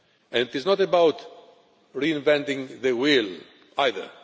It is not about reinventing the wheel, either.